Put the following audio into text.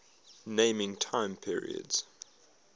naming time periods